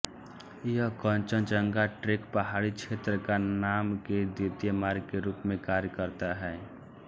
यह कंचनजंगा ट्रेकपहाड़ी क्षेत्र का नाम के द्वितीयक मार्ग के रूप में कार्य करता है